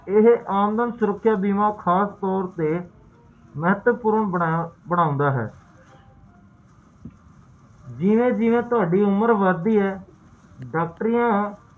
ਜਦੋ ਓਹੋ ਬੱਚਤ ਕਰਨਾ ਸ਼ੁਰੂ ਕਰਦਾ ਹੈ ਓਦੋ ਤੇ ਓਦੇ ਬਾਅਦ